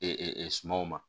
sumanw ma